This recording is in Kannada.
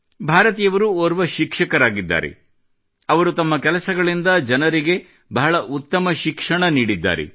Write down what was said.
ಭಾರತಿಯವರು ಓರ್ವ ಶಿಕ್ಷಕರಾಗಿದ್ದಾರೆ ಅವರು ತಮ್ಮ ಕೆಲಸಗಳಿಂದ ಜನರಿಗೆ ಬಹಳ ಉತ್ತಮ ಶಿಕ್ಷಣ ನೀಡಿದ್ದಾರೆ